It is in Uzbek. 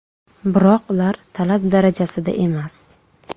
Biroq ular talab darajasida emas.